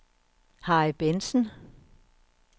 Harry Bentsen